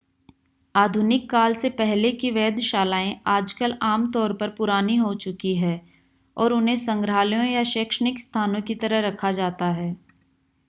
आधुनिक काल से पहले की वेधशालाएं आजकल आम तौर पर पुरानी हो चुकी हैं और उन्हें संग्रहालयों या शैक्षणिक स्थानों की तरह रखा जाता है